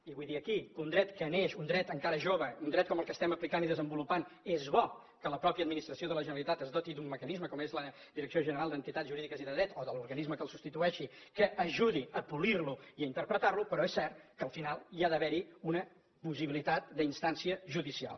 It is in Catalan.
i vull dir aquí que en un dret que neix un dret encara jove un dret com el que estem aplicant i desenvolupant és bo que la mateixa administració de la generalitat es doti d’un mecanisme com és la direcció general d’entitats jurídiques i de dret o l’organisme que el substitueixi que ajudi a polir lo i a interpretar lo però és cert que al final hi ha d’haver una possibilitat d’instància judicial